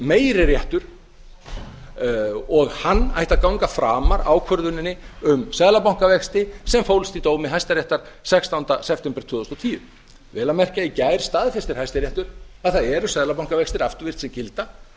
meiri réttur og hann ætti að ganga framar ákvörðuninni um seðlabankavexti sem fólst í dómi hæstaréttar sextánda september tvö þúsund og tíu vel að merkja í gær staðfestir hæstiréttur að það eru seðlabankavextir afturvirkt sem gilda